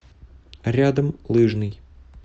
рядом лыжный